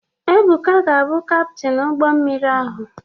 Ebuka ga-abụ Kaptin ụgbọ mmiri ahụ.